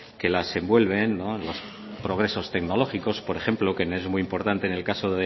que las envuelven los progresos tecnológicos por ejemplo que no es muy importante en el caso